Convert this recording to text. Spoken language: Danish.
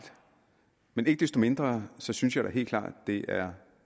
men ikke desto mindre synes jeg da helt klart det er